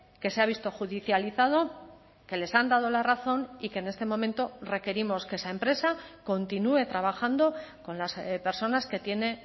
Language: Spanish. que se ha visto judicializado que les han dado la razón y que en este momento requerimos que esa empresa continúe trabajando con las personas que tiene